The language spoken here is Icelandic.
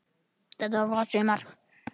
Þetta var gott sumar.